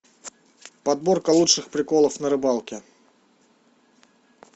подборка лучших приколов на рыбалке